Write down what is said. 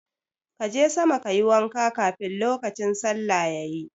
Ka je sama ka yi wanka kafin lokacin sallah yayi.